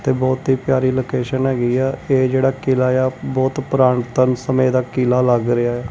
ਤੇ ਬਹੁਤ ਹੀ ਪਿਆਰੀ ਲੋਕੇਸ਼ਨ ਹੈਗੀ ਹ ਇਹ ਜਿਹੜਾ ਕਿਲਾ ਆ ਬਹੁਤ ਪੁਰਾਤਨ ਸਮੇਂ ਦਾ ਕਿਲਾ ਲੱਗ ਰਿਹਾ।